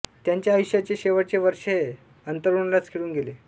त्यांच्या आयुष्याचे शेवटचे वर्ष हे अंथरुणालाच खिळून गेले